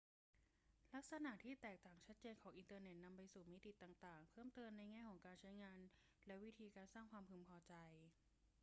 ลักษณะที่แตกต่างชัดเจนของอินเทอร์เน็ตนำไปสู่มิติต่าง ๆ เพิ่มเติมในแง่ของการใช้งานและวิธีการสร้างความพึงพอใจ